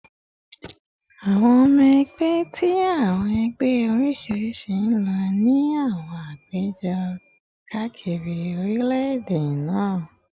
Awọn ọmọ ẹgbẹ ti awọn ẹgbẹ oriṣiriṣi n lọ si awọn apejọ kaakiri orilẹ-ede naa